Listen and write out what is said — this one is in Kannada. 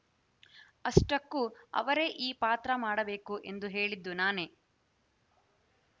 ಅಷ್ಟಕ್ಕೂ ಅವರೇ ಈ ಪಾತ್ರ ಮಾಡಬೇಕು ಎಂದು ಹೇಳಿದ್ದು ನಾನೇ